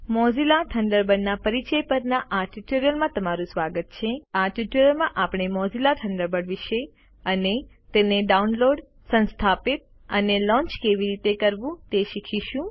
Mozilla થન્ડરબર્ડના પરિચય પરના આ ટ્યુટોરીયલમાં તમારું સ્વાગત છે આ ટ્યુટોરીયલ માં આપણે મોઝિલા થન્ડરબર્ડ વિષે અને તેને ડાઉનલોડ સંસ્થાપિત અને લોન્ચ કેવી રીતે કરવું તે વિષે શીખીશું